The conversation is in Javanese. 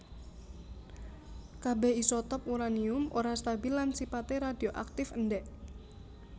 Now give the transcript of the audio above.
Kabèh isotop uranium ora stabil lan sipaté radioaktif endèk